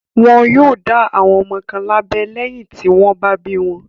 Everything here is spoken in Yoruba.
Wọn yóò dá àwọn ọmọ kan lábẹ́ lẹ́yìn tí wọ́n bá bí wọn.